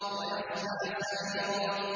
وَيَصْلَىٰ سَعِيرًا